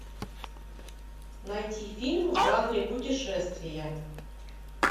найти фильм в жанре путешествия